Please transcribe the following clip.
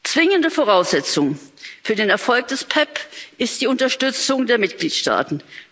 Zwingende Voraussetzung für den Erfolg des PEPP ist die Unterstützung der Mitgliedstaaten.